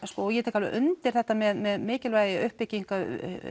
ég tek undir þetta með mikilvægi uppbyggingu